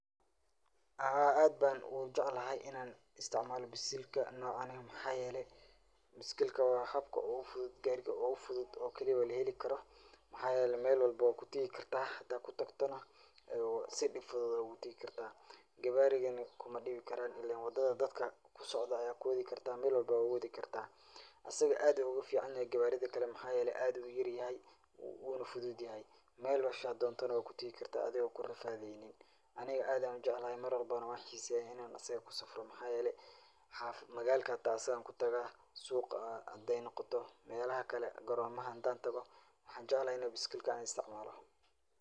Haa aad ban ujeclahay inan isticmaalo biskilga nocane, Maxa yele biskilka wa habka ogu fudud gaariga ogu fudud oo keliya oo laheli karo maxa yelevMel walbo wad kuteegi kartaa hadad kutagto na si dhib fudud ogu teegi karta, gabaridana kuma dhibi karaan ilen wadada dadka kusocdo aya kuwedi karta, Mel walbo wad kuwedi karta, asaga aad ayu oga fican yahay gawaarida kale maxa yele aad ayu uyar yahay wuna fudud yahay Mesha dondo na wad kutegi karta adigo kurafaadeynin, aniga aad ayan ujeclahay Mar walbona wan xiseeya inay asaga kusafro maxa yele magalka hata asagan kutagaa suqa haday noqoto, melaha kale goromaha hadan tago waxan jeclahay inan biskilka an isticmaalo